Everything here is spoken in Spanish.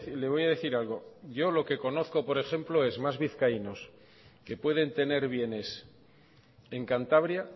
le voy a decir algo yo lo que conozco por ejemplo es más vizcaínos que pueden tener bienes en cantabria